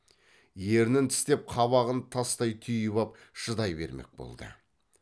ернін тістеп қабағын тастай түйіп ап шыдай бермек болды